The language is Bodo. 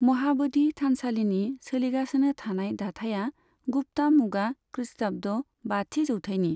महाब'धि थानसालिनि सोलिगासिनो थानाय दाथाइया गुप्ता मुगा खृष्टाब्द बाथि जौथायनि।